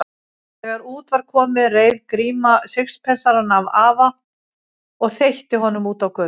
Þegar út var komið reif Gríma sixpensarann af afa og þveitti honum út á götu.